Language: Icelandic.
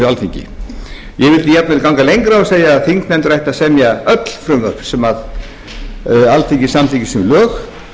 alþingi ég vildi jafnvel ganga lengra og segja að þingnefndir ættu að semja öll frumvörp sem alþingi samþykkir sem lög